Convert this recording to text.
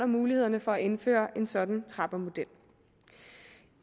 mulighederne for at indføre en sådan trappemodel